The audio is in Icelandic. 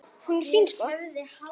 Hún er fín, sko.